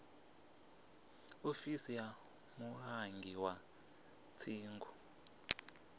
ofisi ya mulangi wa dzingu